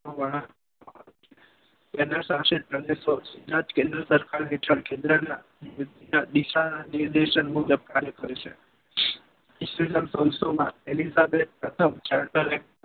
કેન્દ્રશાસિત પ્રદેશો કેન્દ્ર સરકાર હેઠળ કેન્દ્રના આદેશ મુજબ કાર્ય કરે છે.